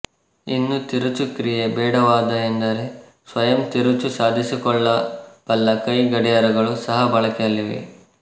ಇನ್ನು ತಿರುಚು ಕ್ರಿಯೆ ಬೇಡವಾದಎಂದರೆ ಸ್ವಯಂ ತಿರುಚು ಸಾಧಿಸಿಕೊಳ್ಳಬಲ್ಲಕೈಗಡಿಯಾರಗಳು ಸಹ ಬಳಕೆಯಲ್ಲಿವೆ